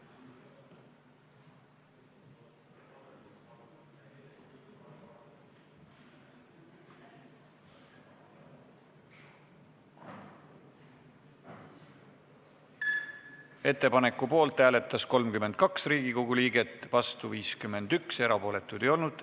Hääletustulemused Ettepaneku poolt hääletas 32 Riigikogu liiget, vastu 51, erapooletuid ei olnud.